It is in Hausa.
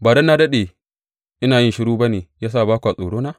Ba don na daɗe ina shiru ba ne ya sa ba kwa tsorona?